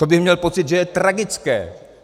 To bych měl pocit, že je tragické.